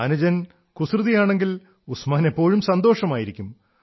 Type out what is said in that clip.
അനുജൻ കുസൃതിയാണെങ്കിൽ ഉസ്മാന് എപ്പോഴും സന്തോഷമായിരിക്കും